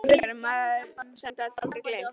Fáir vissu það betur en maður sem gat aldrei gleymt.